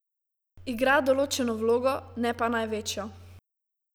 Igra določeno vlogo, ne pa največjo.